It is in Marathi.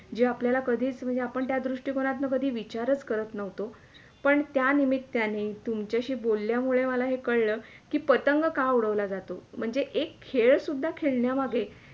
जे आपल्याला कधीच म्हणजे आपण दृष्टी कोणातून कधी विचारच करत नव्हतो पण त्या निमित्याने तुमच्याशी बोलल्यामुळे मला कळल कि पतंग का उडवला जातो म्हणजे एक खेळ सुद्धा खेळण्या मागे